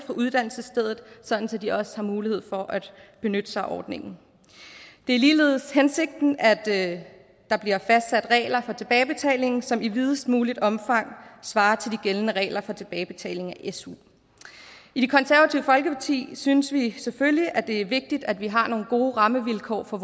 uddannelsesstedet sådan at de også har mulighed for at benytte sig af ordningen det er ligeledes hensigten at der bliver fastsat regler for tilbagebetaling som i videst muligt omfang svarer til de gældende regler for tilbagebetaling af su i det konservative folkeparti synes vi selvfølgelig at det er vigtigt at vi har nogle gode rammevilkår for